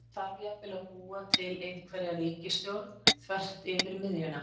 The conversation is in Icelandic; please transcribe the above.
Eða þarf jafnvel að búa til einhverja ríkisstjórn þvert yfir miðjuna?